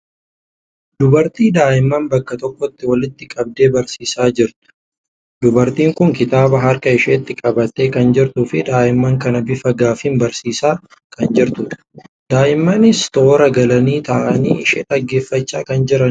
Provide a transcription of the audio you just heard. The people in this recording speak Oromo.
Dubartii daa'imman bakka tokkotti walitti qabdee barsiisaa jirtu. Dubartiin kun kitaaba harka isheetti qabattee kan jirtuu fi daa'imman kana bifa gaaffiin barsiisaa kan jirtudha. Daa'immanis toora galanii taa'anii ishee dhaggeeffachaa kan jiranidha.